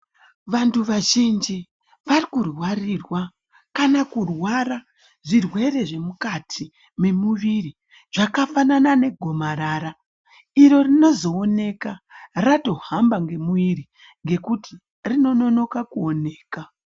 Vantu vazhinji varikurwarirwa kana kurwara zvirwere zvemukati memuviri, zvakafanana negomarara, iro rinozooneka ratohamba ngemwiri, ngekuti rinononoka kuoneka.